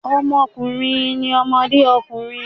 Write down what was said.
Ọmọkùnrin ni ọmọdé ọkùnrin.